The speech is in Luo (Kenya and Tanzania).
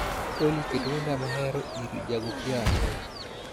olly ket wenda mahero ir ja goo piano